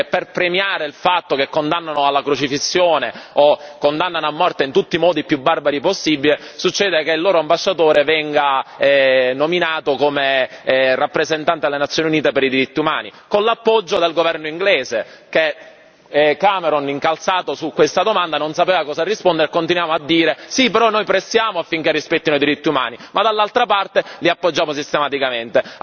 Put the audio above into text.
Succede che, per premiare il fatto che condannano alla crocifissione o condannano a morte in tutti i modi più barbari possibile, succede che il loro ambasciatore venga nominato come rappresentante alle Nazioni Unite per i diritti umani con l'appoggio del governo inglese, e Cameron, incalzato su questa domanda non sapeva cosa rispondere e continuava a dire sì, però noi facciamo pressione affinché rispettino i diritti umani, ma dall'altra parte li appoggiava sistematicamente.